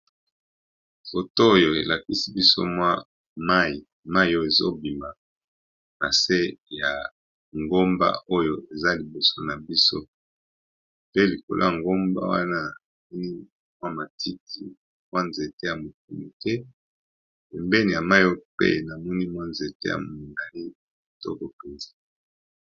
Foto oyo elakisi biso mwa mayi, mayi oyo ezobima nase ya ngomba oyo eza liboso na biso pe likola ngomba wana mwa matiki mwa nzete ya mike mike, pe pembeni ya mayi oyo pe namoni mwa nzete ya mongali to bopenzi.